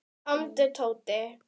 Komdu Tóti.